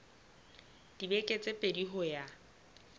dibeke tse pedi ho ya